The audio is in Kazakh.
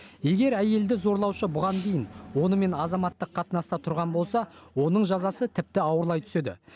егер әйелді зорлаушы бұған дейін онымен азаматтық қатынаста тұрған болса оның жазасы тіпті ауырлай түседі